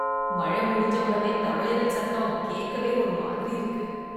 மழை முடிஞ்ச உடனே தவளைகள் சத்தம் கேட்கவே ஒரு மாதிரி இருக்கு.